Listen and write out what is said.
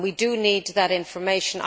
We need that information.